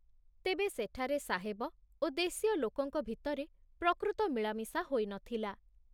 ତେବେ ସେଠାରେ ସାହେବ ଓ ଦେଶୀୟ ଲୋକଙ୍କ ଭିତରେ ପ୍ରକୃତ ମିଳାମିଶା ହୋଇ ନ ଥିଲା।